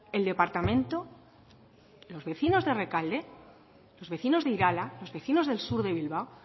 el departamento los vecinos de rekalde los vecinos de irala los vecinos del sur de bilbao